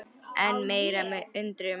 Enn meiri undrun